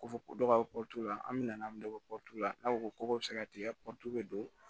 Ko fɔ ko dɔ ka la an bɛ na dɔ la n'a ko ko bɛ se ka tigɛ bɛ don